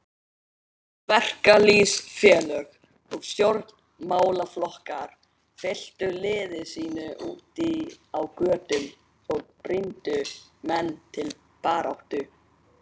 Verkalýðsfélög og stjórn- málaflokkar fylktu liði sínu úti á götum og brýndu menn til baráttu.